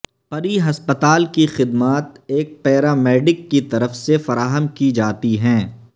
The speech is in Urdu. پری ہسپتال کی خدمات ایک پیرامیڈیک کی طرف سے فراہم کی جاتی ہیں